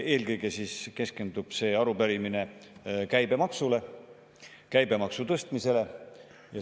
Eelkõige keskendub see arupärimine käibemaksule, käibemaksu tõstmisele.